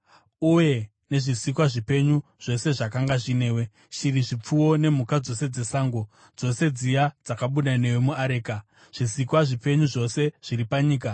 uye nezvisikwa zvipenyu zvose zvakanga zvinewe, shiri, zvipfuwo nemhuka dzose dzesango, dzose dziya dzakabuda newe muareka, zvisikwa zvipenyu zvose zviri panyika.